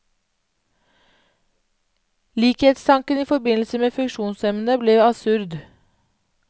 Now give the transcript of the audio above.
Likhetstanken i forbindelse med funksjonshemmede ble absurd.